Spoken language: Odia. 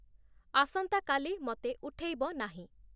ଆସନ୍ତା କାଲି ମତେ ଉଠେଇବ ନାହିଁ।